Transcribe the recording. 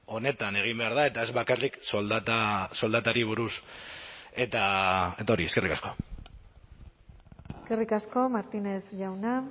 onetan egin behar da eta ez bakarrik soldata soldatari buruz eta hori eskerrik asko eskerrik asko martínez jauna